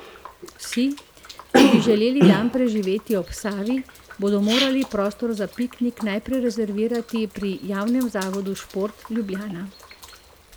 Vsi, ki bi želeli dan preživeti ob Savi, bodo morali prostor za piknik najprej rezervirati pri Javnem zavodu Šport Ljubljana.